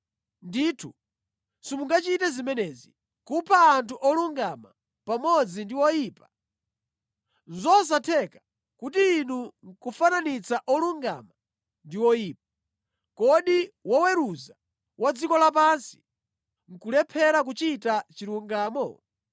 Ndithu simungachite zimenezi, kupha anthu olungama pamodzi ndi oyipa. Nʼzosatheka kuti inu nʼkufananitsa olungama ndi oyipa. Kodi woweruza wa dziko lapansi nʼkulephera kuchita chilungamo?”